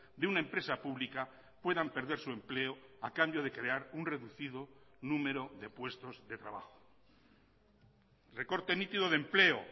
de una empresa pública puedan perder su empleo a cambio de crear un reducido número de puestos de trabajo recorte nítido de empleo